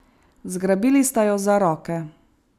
Zgrabili sta jo za roke.